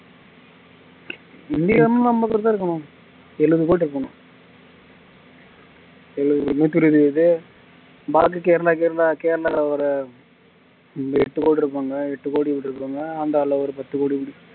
என்னது இந்திய மக்களுக்கும் எழுது கோடி இருக்கன்னு எட்டு கோடி இருப்பாங்க எட்டு கோடி அந்தாள ஒரு பத்து கோடி